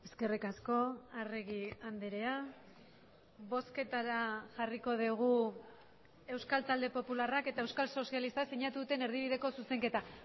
eskerrik asko arregi andrea bozketara jarriko dugu euskal talde popularrak eta euskal sozialistak sinatu duten erdibideko zuzenketa